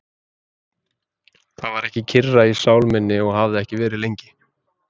Það var ekki kyrra í sál minni og hafði ekki verið lengi.